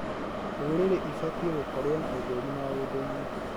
Ndũrĩrĩ ibatiĩ gũkorwo na ũtheri maũndũ-inĩ